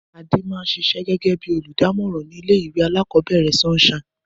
Adé n sisé gégé bí olùdámòràn ní ilé ìwé alákòóbèrè Sunshine